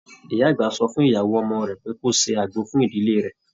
Ìyá àgbà sọ fún ìyàwó ọmọ rẹ pé kó ṣe àgbo fún ìdílé rẹ.